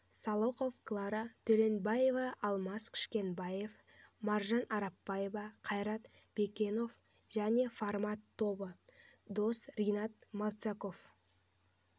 салықов клара төленбаева алмас кішкенбаев маржан арапбаева қайрат баекенов және формат тобы дос ринат малцагов